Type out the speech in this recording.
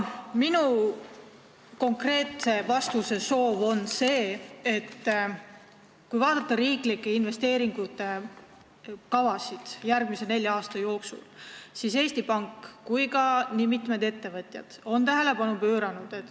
Minu konkreetne küsimus on sihitud sellele, et kui vaadata järgmise nelja aasta riiklike investeeringute kavasid, siis tuleb eriti esile probleem, millele nii Eesti Pank kui ka mitmed ettevõtjad on tähelepanu pööranud.